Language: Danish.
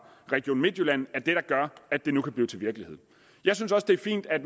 region midtjylland er det der gør at det nu kan blive til virkelighed jeg synes også det er fint at